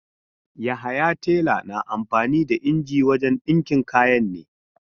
Yahaya tela na amfani da inji wajen dinki kayan ne.